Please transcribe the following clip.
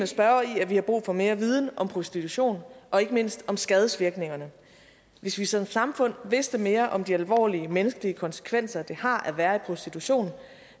spørgeren i at vi har brug for mere viden om prostitution og ikke mindst om skadevirkningerne hvis vi som samfund vidste mere om de alvorlige menneskelige konsekvenser det har at være i prostitution